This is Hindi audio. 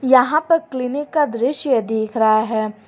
यहां पर क्लीनिक का दृश्य दिख रहा है।